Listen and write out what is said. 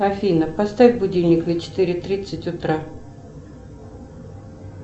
афина поставь будильник на четыре тридцать утра